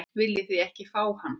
Viljið þið ekki fá hann?